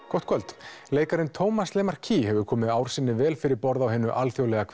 gott kvöld leikarinn Tómas Lemarquis hefur komið ár sinni vel fyrir borð á hinu alþjóðlega